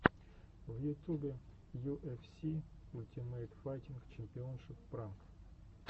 в ютубе ю эф си ультимейт файтинг чемпионшип пранк